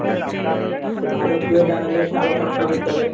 সে ভালো করে জানালে সে আবার পড়াশুনা করতে হবে।